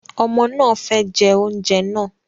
Ọmọ náà fẹ jẹ oúnjẹ náà